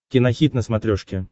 кинохит на смотрешке